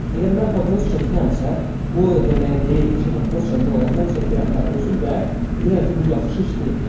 Əgər mən papiros çəkirəmsə, bu o demək deyil ki, papiros çəkmək olar, mən çəkirəm və özüm də bilirəm ki, bu yaxşı iş deyil.